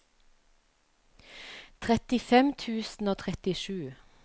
trettifem tusen og trettisju